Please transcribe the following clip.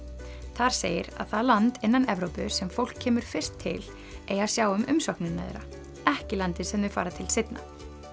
þar segir að það land innan Evrópu sem fólk kemur fyrst til eigi að sjá um umsóknina þeirra ekki landið sem þau fara til seinna